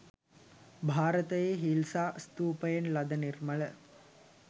භාරතයේ හිල්සා ස්තූපයෙන් ලද නිර්මල